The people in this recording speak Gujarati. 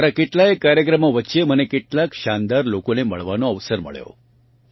મારાં કેટલાંય કાર્યક્રમો વચ્ચે મને કેટલાંક શાનદાર લોકોને મળવાનો અવસર મળ્યો